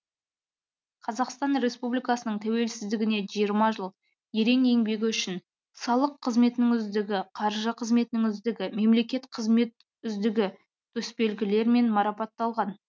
қазақстан республикасының тәуелсіздігіне жиырма жыл ерең еңбегі үшін салық қызметінің үздігі қаржы қызметінің үздігі мемлекеттік қызмет үздігі төсбелгілерімен марапатталған